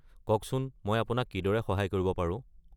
কওকচোন মই আপোনাক কিদৰে সহায় কৰিব পাৰো?